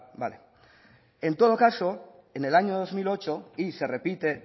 en todo caso en el año dos mil ocho y se repite